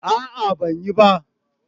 a'a ban yi ba